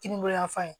Kininbolo yanfan